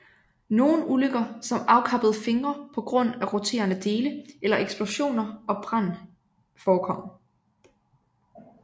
Nogen ulykker som afkappede fingre på grund af roterende dele eller eksplosioner og brand forekom